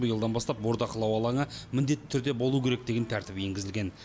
биылдан бастап бордақылау алаңы міндетті түрде болуы керек деген тәртіп енгізілген